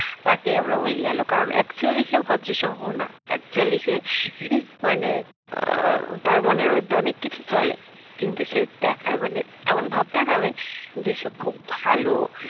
তাকেই আমরা বলি আলু কারণ actually সে ভদ্র সভ্য না actually সে মানে তার মনের মধ্যে অনেক কিছু চলে কিন্তু সে দেখায় মানে এমন ভাব দেখাবে যে সে খুব ভালো